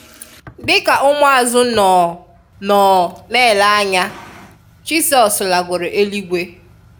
Di ka ụmụazụ nọọ nọọ n'ele anya, Jisọs lagoro éluigwe